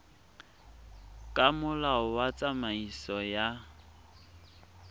ka molao wa tsamaiso ya